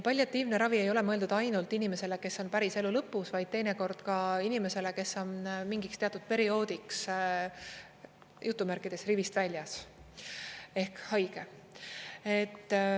Palliatiivne ravi ei ole mõeldud ainult inimesele, kes on päris elu lõpus, vaid teinekord ka inimesele, kes on mingiks teatud perioodiks "rivist väljas" ehk haige.